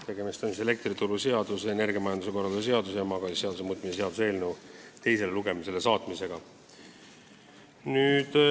Tegemist on elektrituruseaduse, energiamajanduse korralduse seaduse ja maagaasiseaduse muutmise seaduse eelnõu teise lugemisega.